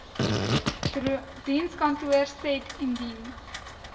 dienskantoor said indien